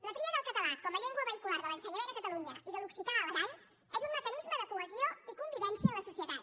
la tria del català com a llengua vehicular de l’ensenyament a catalunya i de l’occità a l’aran és un mecanisme de cohesió i convivència en la societat